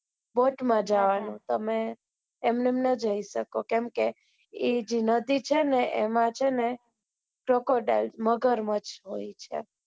બઉ જ મજા આવે તમને તમે એમ્ન્મ નાં જી શકો કેમ કે એ જે નદી છે ને એમાં છે ને crocodile છે મગરમચ્છ હોય છે